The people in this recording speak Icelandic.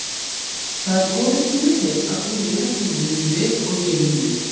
Það er kominn tími til að þú lifir þínu lífi og ég mínu.